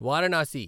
Varanasi